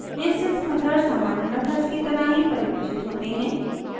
instance methods सामान्य methods की तरह ही परिभाषित होते हैं